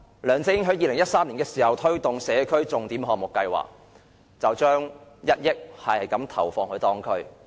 梁振英在2013年推行社區重點項目計劃，每區投放1億元。